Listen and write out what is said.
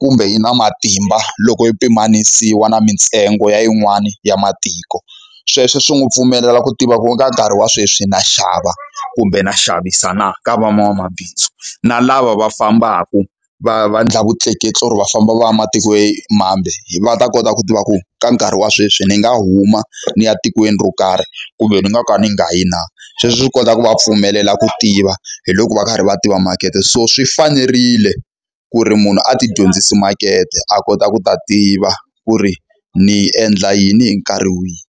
kumbe yi na matimba loko i pimanisiwa na mintsengo ya yin'wani ya matiko. Sweswo swi n'wi pfumelela ku tiva ku ka nkarhi wa sweswi na xava, kumbe na xavisa na ka van'wamabindzu. Na lava va fambaka va va endla vutleketli or va famba va ya ematikweni mambe, va ta kota ku tiva ku ka nkarhi wa sweswi ni nga huma ni ya etikweni ro karhi, kumbe ni nga ka ni nga yi na. Sweswo swi kota ku va pfumelela ku tiva hi loko va karhi va tiva makete. So swi fanerile ku ri munhu a ti dyondzise makete a kota ku ta tiva ku ri ni endla yini hi nkarhi wihi.